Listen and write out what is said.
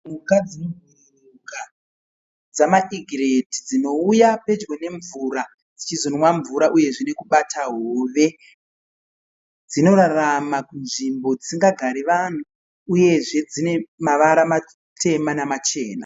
Mhuka dzinobhururuka dzamaEgret dzinouya pedyo nemvura dzichizonwa mvura uyezve nekubata hove dzinorarama kunzvimbo dzisina gare vanhu uyezve dzine mavara matema namachena.